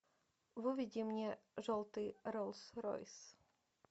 выведи мне желтый роллс ройс